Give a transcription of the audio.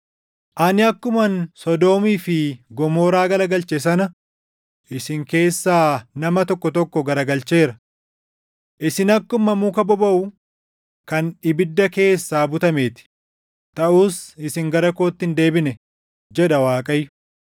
“Ani akkuman Sodoomii fi Gomoraa garagalche sana isin keessaa nama tokko tokko garagalcheera. Isin akkuma muka bobaʼu kan ibidda keessaa butamee ti; taʼus isin gara kootti hin deebine” jedha Waaqayyo.